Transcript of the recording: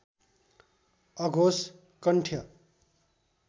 अघोष कण्ठ्य